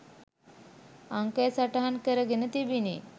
අංකය සටහන් කරගෙන තිබිණි.